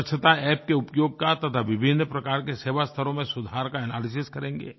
स्वच्छता App के उपयोग का तथा विभिन्न प्रकार के सेवास्थलों में सुधार का एनालिसिस करेंगे